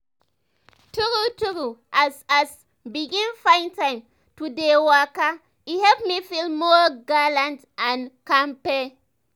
true true as as i begin find time to dey waka e help me feel more gallant and kampay.